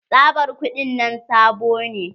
Tsabar kuɗin nan sabo ne.